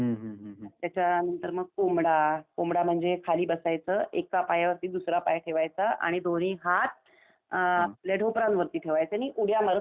त्याच्यानंतर मग कोंबडा, कोंबडा म्हणजे खाली बसायचं एका पायावरती दूसरा पाय ठेवायचा आणि दोन्ही हात अम आपले ढोपरावरती ठेवायचे. आणि उड्या मारत सगळीकडे जायचं.